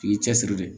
I y'i cɛsiri de